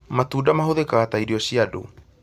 Matunda mahũthĩkaga ta irio cia andũ